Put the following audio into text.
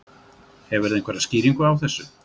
Hefurðu einhverja skýringu á þessu?